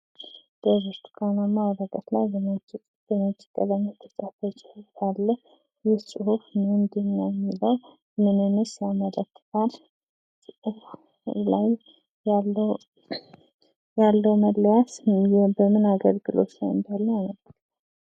በብርቱካንማ ወረቀት ላይ በነጭ ቀለም ጽሁፍ የተጻፈ ጽሁፍ አለ ይህ ጹሁፍ ምንድነው የሚለው ምንንስ ያመለክታል? በጽሁፉ ላይ ያለው መለያ ምን አገልግሎት አለው?